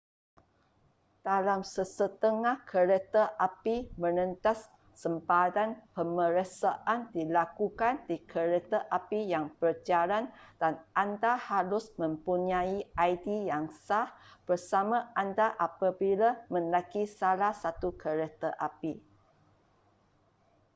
dalam sesetengah kereta api merentas sempadan pemeriksaan dilakukan di kereta api yang berjalan dan anda harus mempunyai id yang sah bersama anda apabila menaiki salah satu kereta api